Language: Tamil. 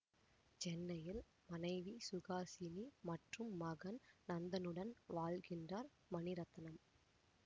சென்னையில் மனைவி சுஹாசினி மற்றும் மகன் நந்தனுடன் வாழ்கின்றார் மணிரத்னம்